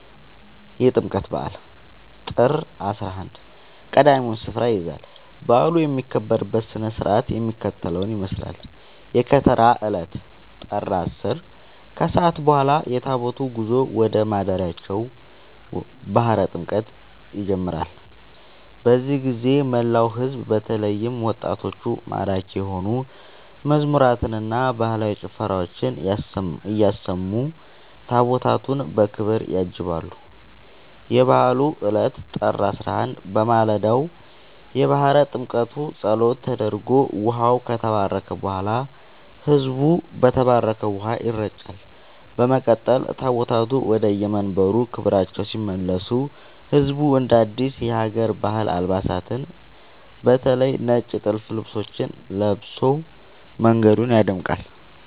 የጥምቀት በዓል (ጥር 11) ቀዳሚውን ስፍራ ይይዛል። በዓሉ የሚከበርበት ሥነ ሥርዓት የሚከተለውን ይመስላል፦ የከተራ ዕለት (ጥር 10)፦ ከሰዓት በኋላ የታቦታቱ ጉዞ ወደ ማደሪያቸው (ባሕረ ጥምቀቱ) ይጀምራል። በዚህ ጊዜ መላው ሕዝብ በተለይም ወጣቶች ማራኪ የሆኑ መዝሙራትንና ባህላዊ ጭፈራዎችን እያሰሙ ታቦታቱን በክብር ያጅባሉ። የበዓሉ ዕለት (ጥር 11)፦ በማለዳው የባሕረ ጥምቀቱ ጸሎት ተደርጎ ውኃው ከተባረከ በኋላ፣ ሕዝቡ በተባረከው ውኃ ይረጫል። በመቀጠል ታቦታቱ ወደየመንበረ ክብራቸው ሲመለሱ ሕዝቡ አዳዲስ የሀገር ባህል አልባሳትን (በተለይ ነጭ ጥልፍ ልብሶችን) ለብሶ መንገዱን ያደምቃል።